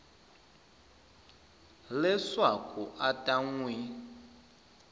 leswaku a ta n wi